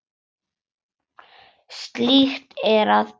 Slíkt er að ósekju.